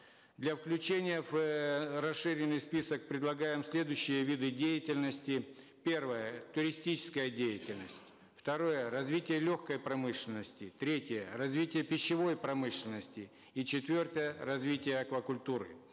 для включения в расширенный список предлагаем следующие виды деятельности первое туристическая деятельность второе развитие легкой промышленности третье развитие пищевой промышленности и четвертое развитие аквакультуры